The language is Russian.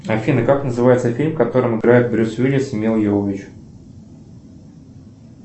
афина как называется фильм в которм играет брюс уиллис и мила йовович